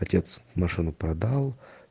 отец машину продал